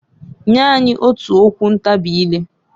Nya anyị otu okwu ntabị ileǃ